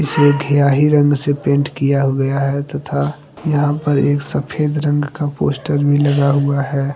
ये घीयाही रंग से पेंट किया गया है तथा यहाँ पर एक सफेद रंग का पोस्टर भी लगा हुआ है।